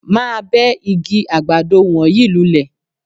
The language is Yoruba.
Máa bẹ́ igi àgbàdo wọ̀nyí lulẹ̀